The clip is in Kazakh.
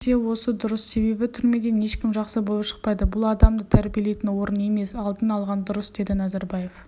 қарапайым нәрсе осы дұрыс себебі түрмеден ешкім жақсы боп шықпайды бұл адамды тәрбиелейтін орын емес алдын алған дұрыс деді назарбаев